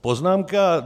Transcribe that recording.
Poznámka